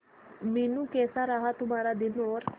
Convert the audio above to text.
मीनू कैसा रहा तुम्हारा दिन और